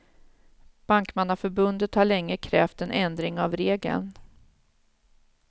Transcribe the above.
Bankmannaförbundet har länge krävt en ändring av regeln.